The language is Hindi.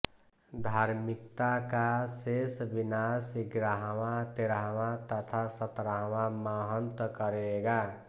धार्मिकता का शेष विनाश ग्यारहवां तेरहवां तथा सतरहवां महंत करेगा